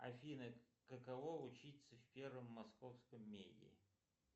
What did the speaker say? афина каково учиться в первом московском меде